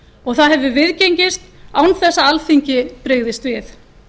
og það hefur viðgengist án þess að alþingi brygðist við